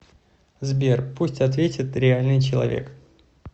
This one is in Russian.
сбер пусть ответит реальный человек